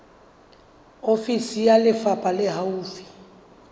ofisi ya lefapha le haufi